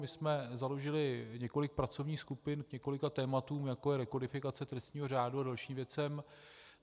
My jsme založili několik pracovních skupin k několika tématům, jako je rekodifikace trestního řádu a dalším věcem.